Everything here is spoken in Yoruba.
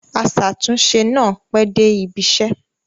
Aṣàtúnṣe náà pẹ́ dé ibiṣẹ́.